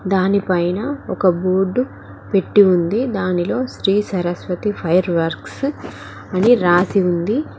దానిపైన ఒక బోర్డు పెట్టి ఉంది దానిలో శ్రీ సరస్వతి ఫైర్ వర్క్స్ అని రాసి ఉంది.